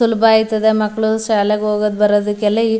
ಸುಲಭ ಅಯ್ಥದೇ ಮಕ್ಕಳು ಶಾಲೆಗ್ ಹೋಗೋದ್ ಬರೋದಕ್ಕೆಲ್ಲ.